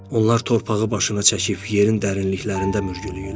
Onlar torpağı başına çəkib yerin dərinliklərində mürgüləyirlər.